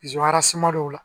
arisuma dɔw la